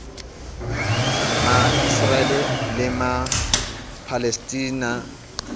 ma israel le ma palestina